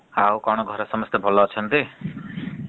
ଆଉ କଣ ଘରେ ସମସ୍ତେ ଭଲ ଅଛନ୍ତି ?